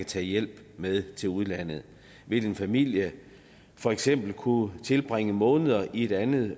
tage hjælp med til udlandet vil en familie for eksempel kunne tilbringe måneder i et andet